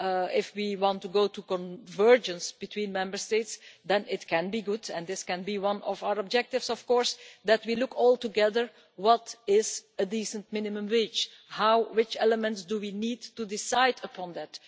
If we want to go to convergence between Member States, that could be good and it can be one of our objectives that we look all together at what is a decent minimum wage, and what elements we need to decide upon that.